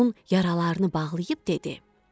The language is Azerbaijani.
Onun yaralarını bağlayıb dedi: